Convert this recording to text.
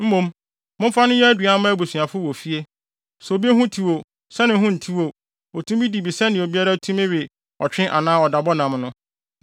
Mmom, momfa no nyɛ aduan mma abusuafo wɔ fie. Sɛ obi ho tew o, sɛ ne ho ntew o, otumi di bi sɛnea obiara tumi we ɔtwe anaa ɔdabɔ nam no.